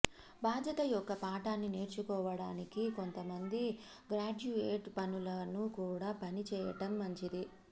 బాధ్యత యొక్క పాఠాన్ని నేర్చుకోవటానికి కొంతమంది గ్రాడ్యుయేట్ పనులను కూడా పని చేయటం మంచిది